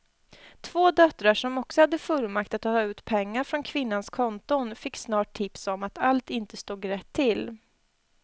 Två döttrar som också hade fullmakt att ta ut pengar från kvinnans konton fick snart tips om att allt inte stod rätt till.